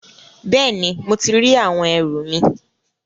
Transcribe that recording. Bẹẹni, mo ti ri àwọn ẹrù mi